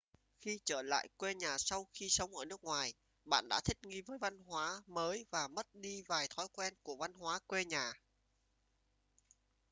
khi trở lại quê nhà sau khi sống ở nước ngoài bạn đã thích nghi với văn hóa mới và mất đi vài thói quen của văn hóa quê nhà